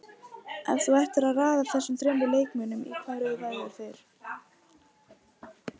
Ef þú ættir að raða þessum þremur leikmönnum, í hvaða röð væru þeir?